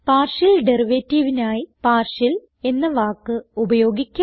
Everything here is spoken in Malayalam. പാർഷ്യൽ derivativeനായി പാർഷ്യൽ എന്ന വാക്ക് ഉപയോഗിക്കാം